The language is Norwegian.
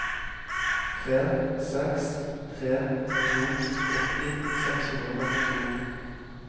tre seks tre to åtti seks hundre og førtito